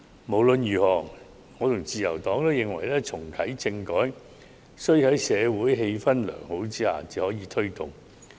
無論如何，我和自由黨均認為，在良好的社會氣氛下才能推動重啟政改。